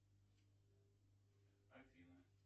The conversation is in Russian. афина